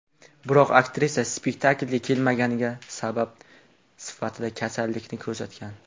Biroq aktrisa spektaklga kelmaganiga sabab sifatida kasallikni ko‘rsatgan.